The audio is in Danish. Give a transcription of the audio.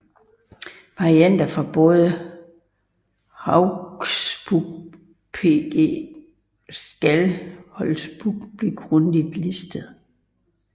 Varianter fra både Hauksbók pg Skálholtsbók bliver grundigt listet